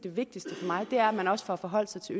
vigtigste for mig er at man også får forholdt sig til